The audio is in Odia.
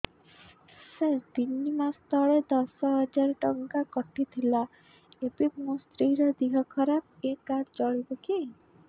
ସାର ତିନି ମାସ ତଳେ ଦଶ ହଜାର ଟଙ୍କା କଟି ଥିଲା ଏବେ ମୋ ସ୍ତ୍ରୀ ର ଦିହ ଖରାପ ଏ କାର୍ଡ ଚଳିବକି